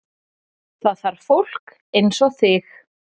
Það þarf fólk eins og þig